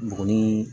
Buguni